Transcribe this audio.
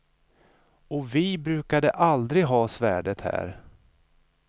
Och vi brukade aldrig ha svärdet här.